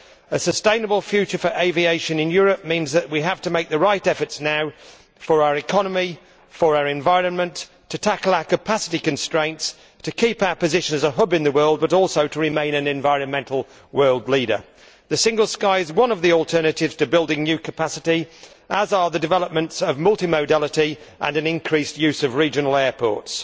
A sustainable future for aviation in Europe means that we have to make the right efforts now for our economy, for our environment, to tackle our capacity constraints, to keep our position as a hub in the world but also to remain an environmental world leader. The single sky is one of the alternatives to building new capacity, as are the development of multi modality and an increased use of regional airports.